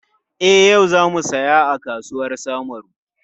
E, yau za mu saya a kasuwar Samaru.